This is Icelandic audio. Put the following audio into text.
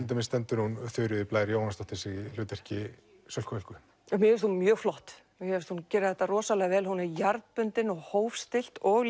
stendur hún Þuríður Blær Jóhannesdóttir sig í hlutverki Sölku Völku mér finnst hún mjög flott mér finnst hún gera þetta rosalega vel hún er jarðbundin og hófstillt og